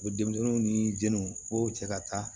U bɛ denmisɛnninw ni jɛniw k'o cɛ ka taa